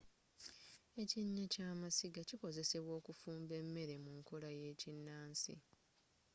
ekinnya ky'amasiga kikozesebwa okufumba emmere mu nkola ey'ekinnansi